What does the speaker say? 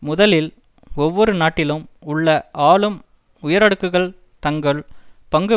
முதலில் ஒவ்வொரு நாட்டிலும் உள்ள ஆளும் உயரடுக்குகள் தங்கள் பங்கு